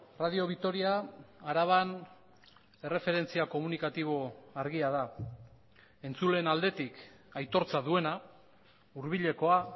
radio vitoria araban erreferentzia komunikatibo argia da entzuleen aldetik aitortza duena hurbilekoa